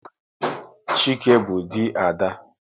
Chike bụ dị Ada